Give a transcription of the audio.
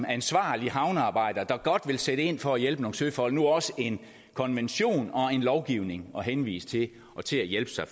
ansvarlig havnearbejder der godt vil sætte ind for at hjælpe nogle søfolk nu også en konvention og lovgivning at henvise til og til at hjælpe sig